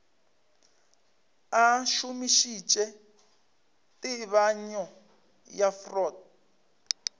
a šomišitše tebanyo ya freud